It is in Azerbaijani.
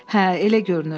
Hə, elə görünür.